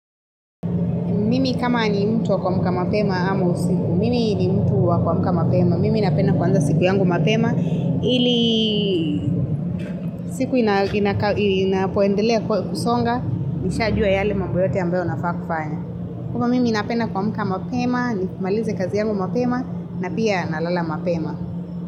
Mimi kama ni mtu wa kuamka mapema ama usiku. Mimi ni mtu wa kwa muka mapema. Mimi napenda kuanza siku yangu mapema ili siku inapoendelea kusonga nishajua yale mambo yote ambayo nafaa kufanya. Kama mimi napenda kuamka mapema ni kumaliza kazi yangu mapema na pia nalala mapema.